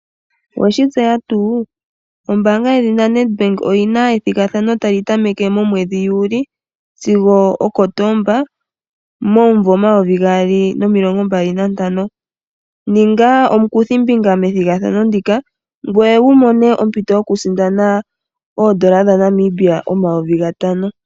Oweshi tseya tuu. Ombaanga yedhina NET Bank oyina ethigathano tali tameke momwedhi Juli sigo oKotoba momvo omayovi gaali nomilongo mbali nantano. Ninga omukuthimbinga methigathano ndika ngoye wu mone ompito yoku sindana oodola dhaNamibia omayovi gatano.